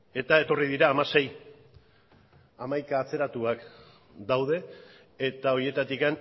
eta etorri dira hamasei hamaika atzeratuak daude eta horietatik